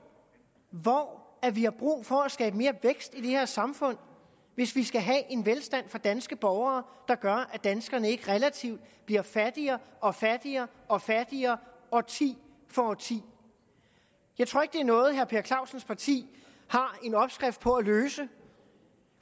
hvor hvor vi har brug for at skabe mere vækst i det her samfund hvis vi skal have en velstand for danske borgere der gør at danskerne ikke relativt bliver fattigere og fattigere og fattigere årti for årti jeg tror ikke det er noget herre per clausens parti har en opskrift på at løse